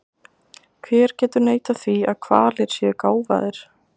Hver getur neitað því að hvalir séu gáfaðir?